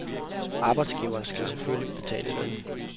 Arbejdsgiveren skal selvfælgelig betale lønnen.